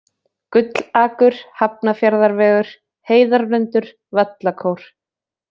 Gullakur, Hafnarfjarðarvegur, Heiðarlundur, Vallakór